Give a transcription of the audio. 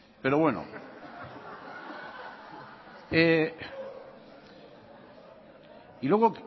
pero bueno y luego